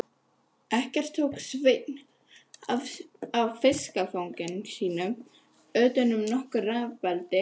Ekkert tók Sveinn af fiskifangi sínu utan nokkur rafabelti.